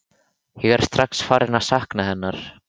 Ég er strax farinn að sakna hennar.